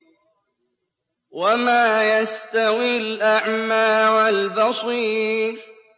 وَمَا يَسْتَوِي الْأَعْمَىٰ وَالْبَصِيرُ